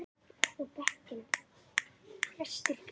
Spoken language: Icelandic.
Lalli starði á þessa litlu veru.